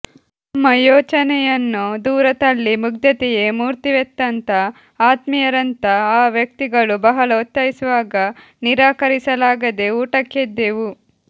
ನಮ್ಮ ಯೋಚನೆಯನ್ನು ದೂರತಳ್ಳಿ ಮುಗ್ದತೆಯೇ ಮೂರ್ತಿವೆತ್ತಂತ ಆತ್ಮೀಯರಂತಾ ಆ ವ್ಯಕ್ತಿಗಳು ಬಹಳ ಒತ್ತಾಯಿಸುವಾಗ ನಿರಾಕರಿಸಲಾಗದೇ ಊಟಕ್ಕೆದ್ದೆವು